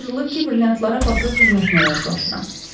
Mənə tapşırılıb ki, brilyantlara baxıb qiymətinə razılaşdırım.